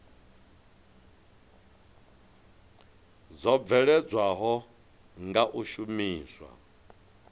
dzo bveledzwaho nga u shumiswa